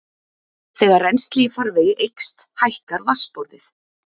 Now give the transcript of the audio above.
þegar rennsli í farvegi eykst hækkar vatnsborðið